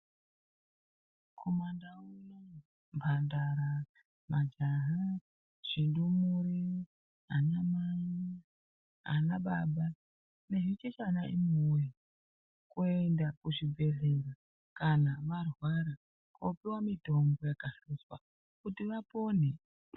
Kumandau kunouku, mhandara, majaha, zvindumure, anamai, anababa nezvichechana imiwoye, kuenda kuzvibhedhlera kana marwara kopiwa mitombo yakahluzwa, kutivapone.